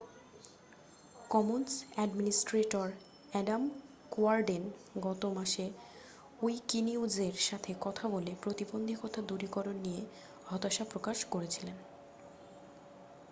Commons administrator Adam Cuerden গত মাসে উইকিনিউজের সাথে কথা বলে প্রতিবন্ধতা দূরীকরণ নিয়ে হতাশা প্রকাশ করেছিলেন